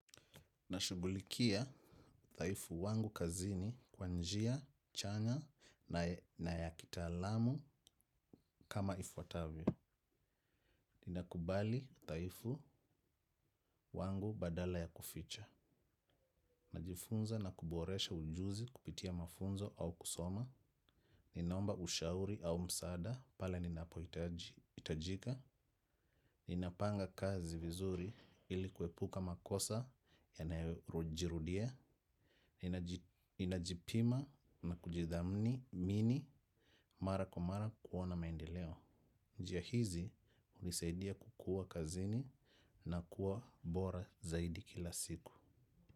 Nashughulikia udhaifu wangu kazini kwa njia, chanya na ya kitaalamu kama ifuatavyo. Ninakubali udhaifu wangu badala ya kuficha. Najifunza na kuboresha ujuzi kupitia mafunzo au kusoma. Ninaomba ushauri au msaada pale ninapohiitajika. Ninapanga kazi vizuri ili kuepuka makosa yanayojirudia. Ninajipima na kujidhamini mara kwa mara kuona maendeleo. Njia hizi hunisaidia kukua kazini na kuwa bora zaidi kila siku.